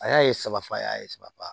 A y'a ye saba fɔ a y'a saba